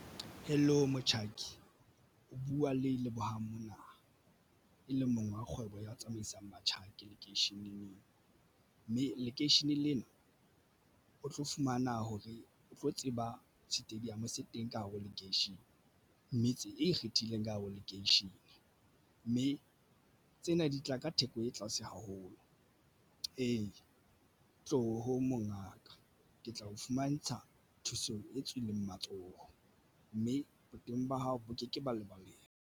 Hello, motjhaki o buwa le Lebohang mona e leng mong wa kgwebo ya ho tsamaisang batjhaki lekeisheneng neng mme lekeishene lena o tlo fumana hore o tlo tseba stadium se teng ka hare ho lekeishene. Metse e ikgethileng ka habo lekeishene, mme tsena di tla ka theko e tlase haholo. Ee, tloho mongaka ke tla o fumantsha thuso e tswileng matsoho mme boteng ba hao bo ke ke ba lebaleng.